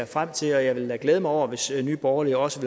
frem til og jeg vil da glæde mig over hvis nye borgerlige også